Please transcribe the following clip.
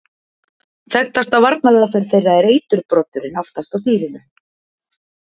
Þekktasta varnaraðferð þeirra er eiturbroddurinn aftast á dýrinu.